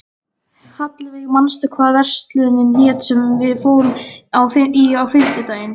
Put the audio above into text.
Hallveig, manstu hvað verslunin hét sem við fórum í á fimmtudaginn?